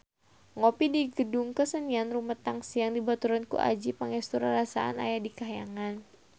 Ngopi di Gedung Kesenian Rumetang Siang dibaturan ku Adjie Pangestu rarasaan aya di kahyangan